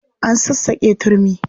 An sassaƙe turmi.